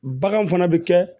Bagan fana bɛ kɛ